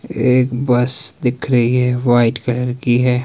एक बस दिख रही है वाइट कलर की है।